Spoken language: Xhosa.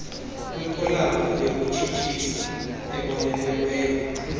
kwikholam yokutshisthisa ebonelelweyo